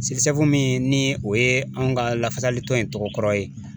min ni o ye anw ka lafasalitɔn in tɔgɔ kɔrɔ ye